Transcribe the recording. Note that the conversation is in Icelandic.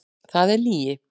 Það er lygi!